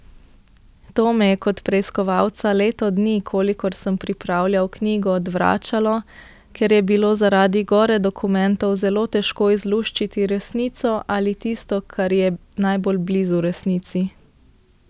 To me je kot preiskovalca leto dni, kolikor sem pripravljal knjigo, odvračalo, ker je bilo zaradi gore dokumentov zelo težko izluščiti resnico ali tisto, kar je najbolj blizu resnici.